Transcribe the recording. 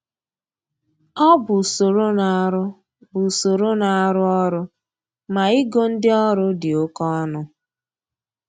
Ọ bụ usoro na-arụ bụ usoro na-arụ ọrụ ma igo ndị ọrụ dị oke ọnụ